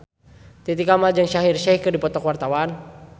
Titi Kamal jeung Shaheer Sheikh keur dipoto ku wartawan